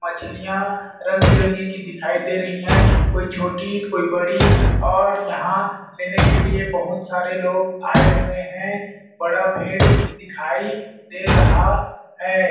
मछलियाँ रंग-बिरंगी की दिखाई दे रही है कोई छोटी कोई बड़ी और यहाँ लेने की लिए बहुत सारे लोग आए हुए है बड़ा भीड़ दिखाई दे रहा है।